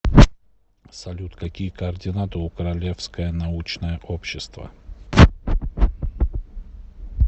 салют какие координаты у королевское научное общество